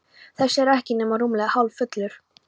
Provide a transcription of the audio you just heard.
Þessi er ekki nema rúmlega hálffullur.